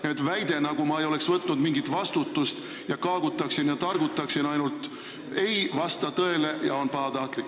Nii et väide, nagu ma ei oleks võtnud mingit vastutust ning ainult kaagutan ja targutan, ei vasta tõele ja on pahatahtlik.